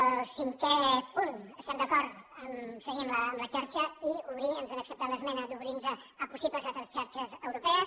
al cinquè punt estem d’acord a seguir amb la xarxa i ens han acceptat l’esmena d’obrir nos a possibles altres xarxes europees